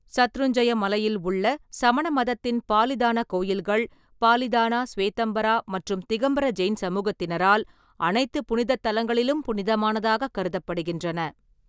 சத்ருஞ்ஜய மலையில் உள்ள சமண மதத்தின் பாலிதான கோயில்கள், பாலிதானா, ஸ்வேதம்பரா மற்றும் திகம்பர ஜெயின் சமூகத்தினரால் அனைத்து புனிதத் தலங்களிலும் புனிதமானதாகக் கருதப்படுகின்றன.